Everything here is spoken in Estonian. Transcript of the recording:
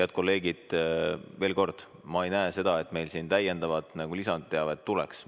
Head kolleegid, veel kord, ma ei näe, et meil siin lisateavet tuleks.